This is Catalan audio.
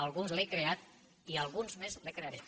alguns li n’hem creat i alguns més li’n crearem